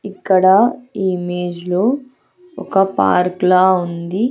ఇక్కడ ఈ ఇమేజ్ లో ఒక పార్క్ లా ఉంది.